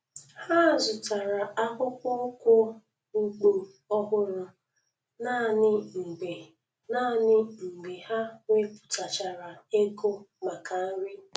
Ha zụtara akpụkpọ ụkwụ ugbo ọhụrụ naanị mgbe naanị mgbe ha wepụtachara ego maka nri